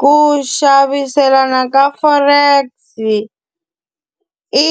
Ku xaviselana ka Forex-i, i